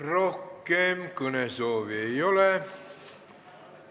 Rohkem kõnesoove ei ole.